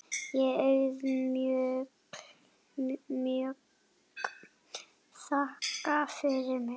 Ég auðmjúk þakka fyrir mig.